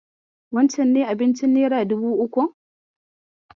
Wancen ne abincin nera dubu ukun?